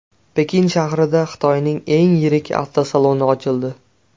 Pekin shahrida Xitoyning eng yirik avtosaloni ochildi .